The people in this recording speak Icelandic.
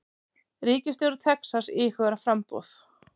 Ríkisstjóri Texas íhugar framboð